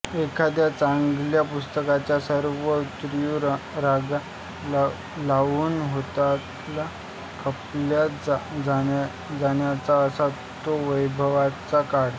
एखाद्या चांगल्या पुस्तकाच्या सर्व आवृत्या रांगा लावून हातोहात खपल्या जायच्या असा तो वैभवाचा काळ